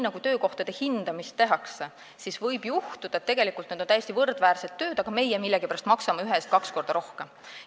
Kui töökohtade hindamist tehakse, siis võib selguda, et tegelikult on need täiesti võrdväärsed tööd, aga meie millegipärast maksame ühe töö eest kaks korda rohkem.